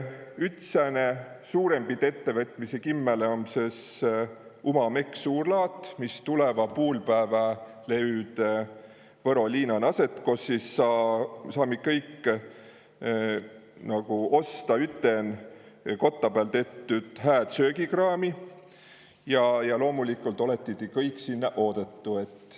Üts sääne suurempit ettevõtmisi kimmäle om sõs suurlaat Uma Mekk, mis tulõva puulpäävä löüd Võro liinan aset, kos sõs saami kõik osta üten kotta pääl tettü hääd söögikraami, ja loomulikult olõtõ ti kõik sinnä oodetu.